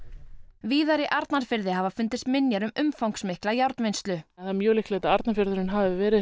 víðar í Arnarfirði hafa fundist minjar um umfangsmikla það er mjög líklegt að Arnarfjörður hafi verið